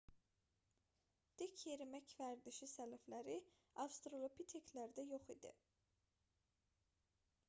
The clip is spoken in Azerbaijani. dik yerimək vərdişi sələfləri avstralopiteklərdə yox idi